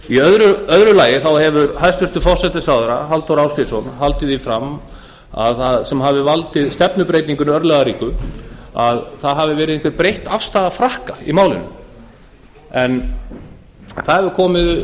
í öðru lagi hefur hæstvirtur forsætisráðherra halldór ásgrímsson haldið því fram að það sem hafi valdið stefnubreytingunni örlagaríku hafi verið breytt afstaða frakka í málinu það hefur